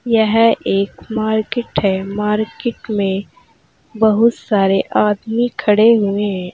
यह एक मार्केट है मार्केट में बहुत सारे आदमी खड़े हुए है।